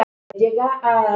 Örn, ég er hér